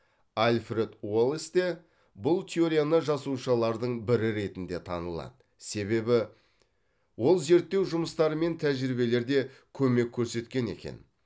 альфред уоллес те бұл теорияны жасаушылардың бірі ретінде танылады себебі ол зерттеу жұмыстары мен тәжірибелерде көмек көрсеткен екен